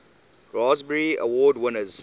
raspberry award winners